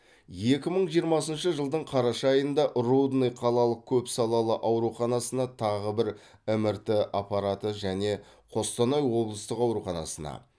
екі мың жиырмасыншы жылдың қараша айында рудный қалалық көпсалалы ауруханасына тағы бір мрт аппараты және қостанай облыстық ауруханасына